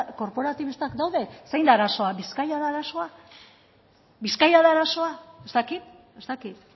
korporatibistak daude zein da arazoa bizkaia da arazoa bizkaia da arazoa ez dakit ez dakit